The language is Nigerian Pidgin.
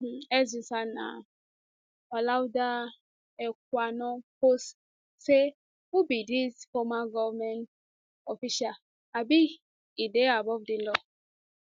im x username na olaudah equiano post say who be dis former govment official abi e dey above di law